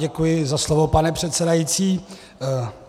Děkuji za slovo, pane předsedající.